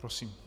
Prosím.